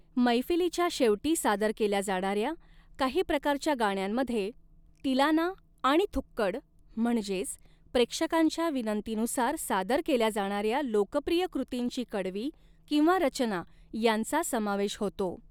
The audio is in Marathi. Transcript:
मैफिलीच्या शेवटी सादर केल्या जाणाऱ्या काही प्रकारच्या गाण्यांमध्ये तिलाना आणि थुक्कड म्हणजेच प्रेक्षकांच्या विनंतीनुसार सादर केल्या जाणाऱ्या लोकप्रिय कृतींची कडवी किंवा रचना यांचा समावेश होतो.